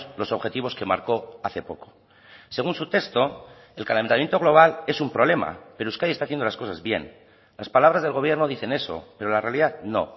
los objetivos que marcó hace poco según su texto el calentamiento global es un problema pero euskadi está haciendo las cosas bien las palabras del gobierno dicen eso pero la realidad no